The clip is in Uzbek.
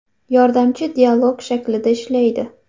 Yordamchi dialog shaklida ishlaydi.